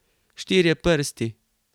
Štirje prsti.